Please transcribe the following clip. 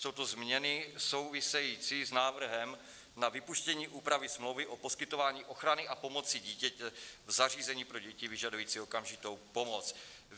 Jsou to změny související s návrhem na vypuštění úpravy smlouvy o poskytování ochrany a pomoci dítěti v zařízení pro děti vyžadující okamžitou pomoc.